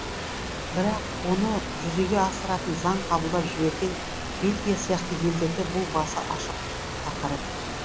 бірақ оны жүзеге асыратын заң қабылдап жіберген бельгия сияқты елдерде бұл басы ашық тақырып